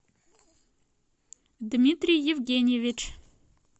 дмитрий евгеньевич